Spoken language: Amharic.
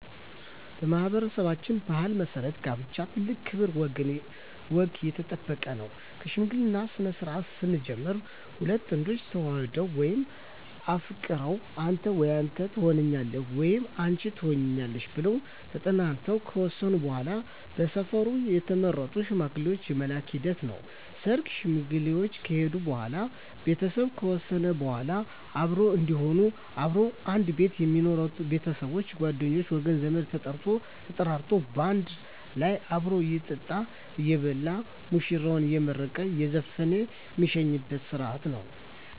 በማኅበረሠባችን ባሕል መሠረት ጋብቻ ትልቅ ክብር ወገን የጠበቀ ነው ከሽምግልናው ስነስርዓት ስንጀምር ሁለት ጥንዶች ተዋደው ወይም ተፋቅረው አንተ ወይም አንተ ተሆነኛለህ ወይም አንች ትሆኝኛለሽ ብለው ተጠናንተው ከወሰኑ በዋላ በሰፈሩ የተመረጡ ሽማግሌዎች የመላክ ሂደት ነው ሰርግ ሽማግሌዎች ከሄዱ በዋላ ቤተሰብ ከወሰነ በዋላ አብሮ እዴሆኑ አብረው ከአንድ ቤት ሜኖሩበች ቤተሰብ ጓደኞቼ ወገን ዘመድ ተጠርቶ ተጠራርቶ ባንድ ላይ አብሮ እየጠጣ እየበላ ሙሽራዎችን አየመረቀ እየዘፈነ ሜሸኝበት ስረሀት ነው